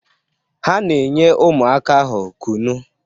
Ha na-enye ụmụaka ahụ kụnụ